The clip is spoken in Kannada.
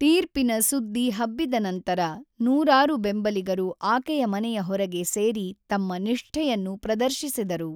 ತೀರ್ಪಿನ ಸುದ್ದಿ ಹಬ್ಬಿದ ನಂತರ, ನೂರಾರು ಬೆಂಬಲಿಗರು ಆಕೆಯ ಮನೆಯ ಹೊರಗೆ ಸೇರಿ ತಮ್ಮ ನಿಷ್ಠೆಯನ್ನು ಪ್ರದರ್ಶಿಸಿದರು.